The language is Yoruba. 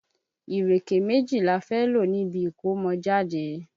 Ìréké méjì la fẹ́ lò níbi ìkómọjáde.